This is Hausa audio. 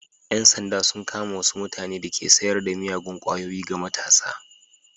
Yan sanda sun kama wasu mutane da ke sayar da miyagun kwayoyi ga matasa.